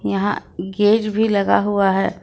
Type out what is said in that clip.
यहां गेज भी लगा हुआ है।